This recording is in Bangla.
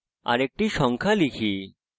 আরেকটি সংখ্যা লেখা যাক